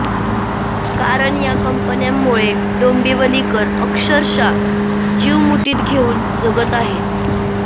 कारण या कंपन्यांमुळे डोंबिवलीकर अक्षरशः जीव मुठीत घेऊन जगत आहेत